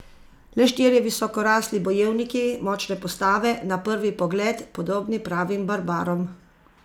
Le štirje visokorasli bojevniki, močne postave, na prvi pogled podobni pravim barbarom.